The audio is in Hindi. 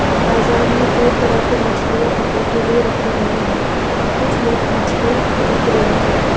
बाजार में कई तरह की मछलियां बिक्री के लिए रखे हुए हैं और कुछ लोग मछलियां खरीद रहे हैं।